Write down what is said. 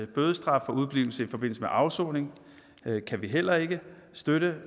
bødestraf for udeblivelse i forbindelse med afsoning kan vi heller ikke støtte